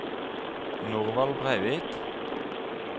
Norvald Breivik